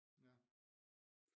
Ja